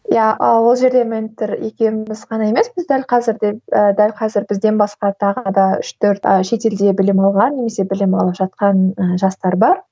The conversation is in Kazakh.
иә ы ол жерде ментор екеуміз ғана емес біз дәл қазір де ы дәл қазір бізден басқа тағы да үш төрт ы шетелде білім алған немесе білім алып жатқан ыыы жастар бар